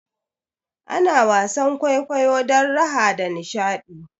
Ana wasan kwaikwayo don raha da nishaɗi